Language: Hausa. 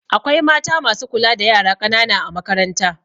Akwai mata masu kula da yara ƙanana a makaranta